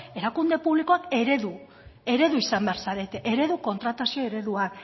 erakunde publikoak eredu izan behar zarete eredu kontratazio ereduan